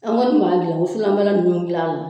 An kɔni b'an wusulanbalan ninnu dilan la.